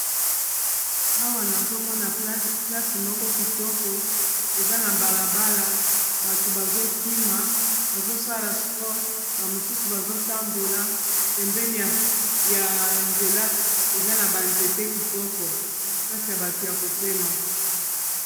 Awa nazomona place moko kitoko eza na balabala bato bazokima bazosala spore bamosusu bazotambola pembene, ya nzela eza na banzete kitoko place ya bato ya kopema.